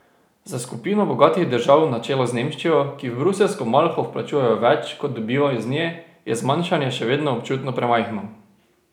Za skupino bogatih držav na čelu z Nemčijo, ki v bruseljsko malho vplačujejo več, kot dobijo iz nje, je zmanjšanje še vedno občutno premajhno.